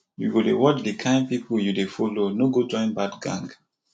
you go dey watch the kin people you dey follow no go join bad gang